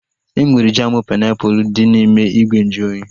Enwere jamu painiapulu dị n'ime ìgwè nju oyi